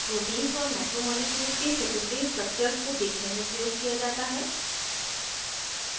proteins और macromolecules के secondary structures को देखने में प्रयोग किया जाता है